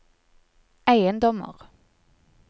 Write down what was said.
eiendommer